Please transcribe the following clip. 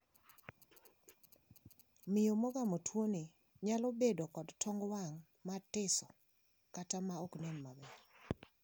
Miyo mogamo tuoni nyalo bedo kod tong wang` matiso kata maoknen maber.